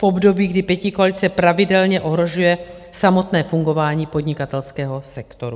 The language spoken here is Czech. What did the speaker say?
V období, kdy pětikoalice pravidelně ohrožuje samotné fungování podnikatelského sektoru.